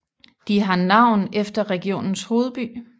De har navn efter regionens hovedby